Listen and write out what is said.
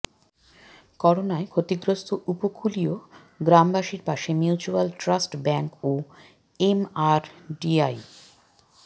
করোনায় ক্ষতিগ্রস্ত উপকূলীয় গ্রামবাসীর পাশে মিউচুয়াল ট্রাস্ট ব্যাংক ও এমআরডিআই